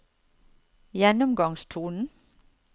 gjennomgangstonen